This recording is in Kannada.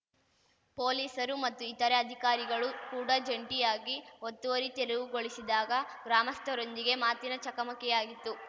ಪೊಲೀಸರು ಮತ್ತು ಇತರೆ ಅಧಿಕಾರಿಗಳು ಕೂಡಾ ಜಂಟಿಯಾಗಿ ಒತ್ತುವರಿ ತೆರವುಗೊಳಿಸಿದಾಗ ಗ್ರಾಮಸ್ಥರೊಂದಿಗೆ ಮಾತಿನ ಚಕಮಕಿಯಾಗಿತ್ತು